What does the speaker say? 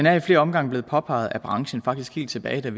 er i flere omgange blevet påpeget af branchen faktisk helt tilbage til